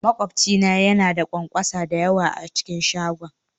Makwabci na yana da ƙwanƙwasa da yawa a cikin shagon